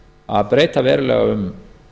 að breyta verulega um